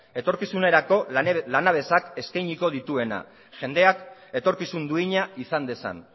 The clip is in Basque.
etorkizunerako lanabesak eskainiko dituena jendeak etorkizun duina izan dezan